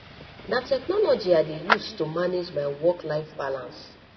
na technology i dey use to manage my worklife balance